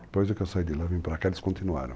Depois que eu saí de lá, vim para cá e eles continuaram.